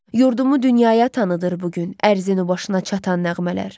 Yurdumu dünyaya tanıtır bu gün ərzinin o başına çatan nəğmələr.